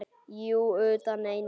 Jú, utan einu sinni.